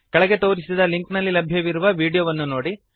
ಕೆಳಗೆ ತೋರಿಸಿದ ಲಿಂಕ್ನಲ್ಲಿ ಲಭ್ಯವಿರುವ ವೀಡಿಯೋವನ್ನು ನೋಡಿರಿ